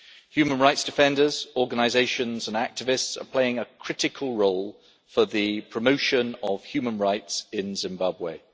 Human rights defenders, organisations and activists are playing a critical role in the promotion of human rights in Zimbabwe.